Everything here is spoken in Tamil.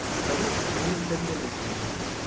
கவின் உங்களுக்கு தெரிஞ்சதை நீங்க சொல்ல முடியுமா